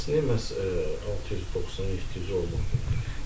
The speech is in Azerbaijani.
Bəs niyə məhz 690, 700 olmadı?